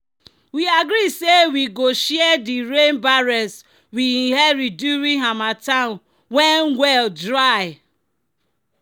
"we agree say we go share di rain barrels we inherit during harmattan when well dry."